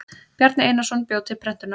Bjarni Einarsson bjó til prentunar.